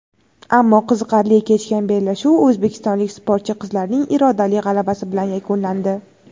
ammo qiziqarli kechgan bellashuv o‘zbekistonlik sportchi qizlarning irodali g‘alabasi bilan yakunlandi.